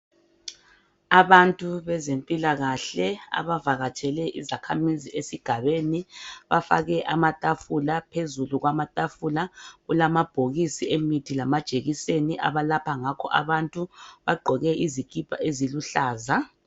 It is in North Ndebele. Abantu bezempilakahle abavakatshele izakhamizi esigabeni, bafake amatafula phezulu kwamatafula kulamabhokisi emithi lamajekiseni abalapha ngakho abantu bagqoke izikipa eziluhlaza.